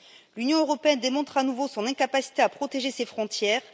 L'Union européenne démontre à nouveau son incapacité à protéger ses frontières.